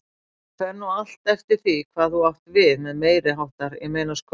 Það fer nú allt eftir því hvað þú átt við með meiriháttar, ég meina sko.